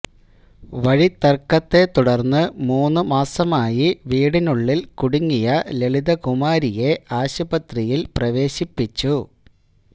വഴിത്തര്ക്കത്തെ തുടര്ന്ന് മൂന്നു മാസമായി വീടിനുള്ളില് കുടുങ്ങിയ ലളിത കുമാരിയെ ആശുപത്രിയില് പ്രവേശിപ്പിച്ചു